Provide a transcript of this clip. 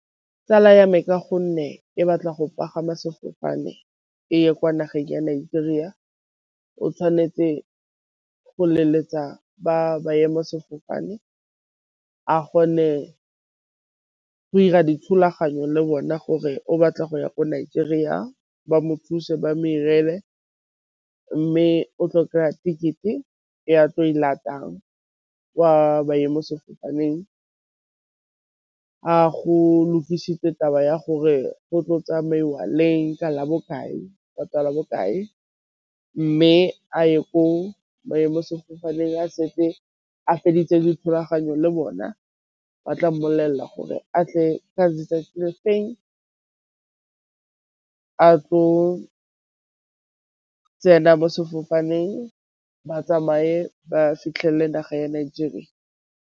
Tsala ya me ka gonne e batla go pagama sefofane e ye kwa nageng ya Nigeria, o tshwanetse go leletsa ba ba ema sefofane a kgone go 'ira dithulaganyo le bona gore o batla go ya ko Nigeria ba mo thuse ba modirele, mme o tlo go kry-a ticket e ya tlo e latelang kwa maemo sefofaneng, a go lokisitswe taba ya gore go tlo tsamaiwa leng ka la bokae ka la bokae, mme a ye ko maemo sefofaneng a setse a feditse dithulaganyo le bona ba tla mmolelela gore a tle ka letsatsi lefeng a tlo tsena mo sefofaneng ba tsamaye ba fitlhelele naga ya Nigeria.